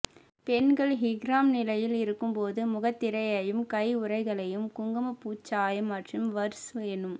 பெண்கள் இஹ்ராம் நிலையில் இருக்கும் போது முகத்திரையையும் கையுறைகளையும் குங்குமப்பூச் சாயம் மற்றும் வர்ஸ் எனும்